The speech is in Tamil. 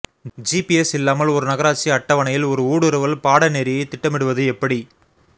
ஜிபிஎஸ் இல்லாமல் ஒரு நகராட்சி அட்டவணையில் ஒரு ஊடுருவல் பாடநெறியைத் திட்டமிடுவது எப்படி